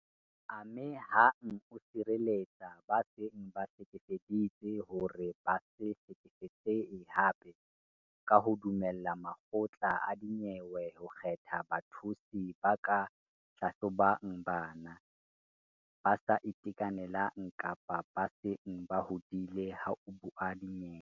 Ame hang o sireletsa ba seng ba hlekefeditswe hore ba se hlekefetsehe hape ka ho dumella makgotla a dinyewe ho kgetha bathusi ba ka hlahlobang bana, ba sa itekanelang kapa ba seng ba hodile ha ho buuwa dinyewe.